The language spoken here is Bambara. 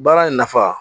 Baara in nafa